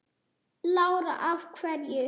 Lára: Af hverju?